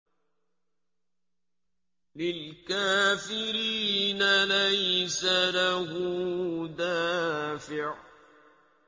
لِّلْكَافِرِينَ لَيْسَ لَهُ دَافِعٌ